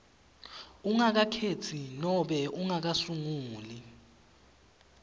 ungakakhetsi nobe ungakasunguli